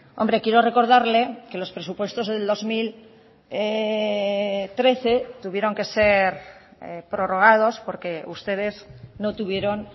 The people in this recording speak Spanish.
hombre quiero recordarle que los presupuestos del dos mil trece tuvieron que ser prorrogados porque ustedes no tuvieron